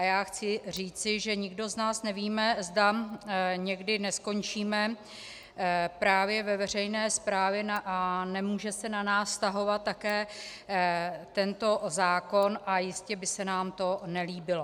A já chci říci, že nikdo z nás nevíme, zda někdy neskončíme právě ve veřejné správě a nemůže se na nás vztahovat také tento zákon a jistě by se nám to nelíbilo.